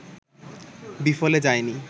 বিফলে যায়নি